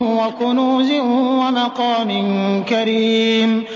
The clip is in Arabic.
وَكُنُوزٍ وَمَقَامٍ كَرِيمٍ